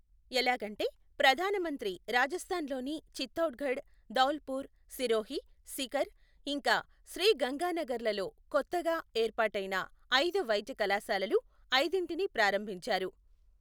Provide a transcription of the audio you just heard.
ఎలాగంటే, ప్రధాన మంత్రి రాజస్థాన్ లోని చిత్తౌడ్ గఢ్, ధౌల్ పుర్, సిరోహీ, సీకర్, ఇంకా శ్రీ గంగానగర్ లలో క్రొత్తగా ఏర్పాటైన అయిదు వైద్య కళాశాలలు, అయిదింటిని ప్రారంభించారు.